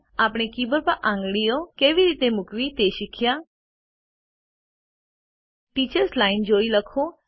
આપણે keyboard પર આપણી આંગળીઓ કેવી રીતે મુકવી તે પણ શીખ્યા ટીચર્સ લાઇન જોઈ લખો